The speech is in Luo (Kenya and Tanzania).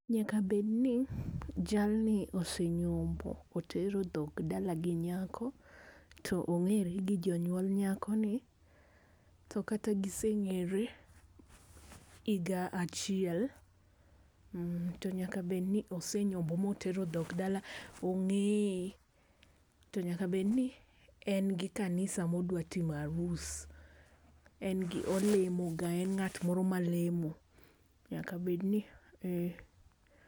Nyaka bedni jalni ose nyombo. Otero dhok dala gi nyako. To ong'ere gi jonyuol nyakoni, to kata giseng'ere higa achiel. To nyaka bed ni ose nyombo motero dhok dala, ong'eye. To nyaka bedni en gi kanisa modwa time arus. En gi olemoga en ng'at moro malemo. Nyaka bedni ee.